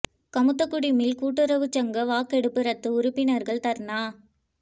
Kamuthakudi mill கூட்டுறவுசங்க வாக்கெடுப்பு ரத்து உறுப்பினர்கள் தர்ணா